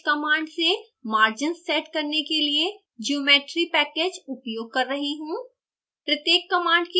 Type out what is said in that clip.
मैं usepackage command से margins set करने के लिए geometry package उपयोग कर रही हूँ